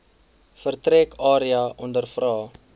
vertrek area ondervra